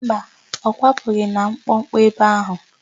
Mba, ọ kwapụghị na mkpọkpọ ebe áhụ̀.